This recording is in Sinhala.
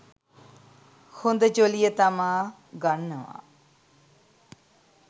හොඳ ජොලිය තමා ගන්නවා.